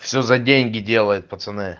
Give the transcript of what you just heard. все за деньги делают пацаны